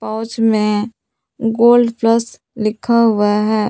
और उसमें gold plus लिखा हुआ है।